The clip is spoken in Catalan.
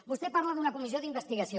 vostè parla d’una comissió d’investigació